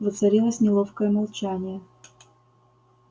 воцарилось неловкое молчание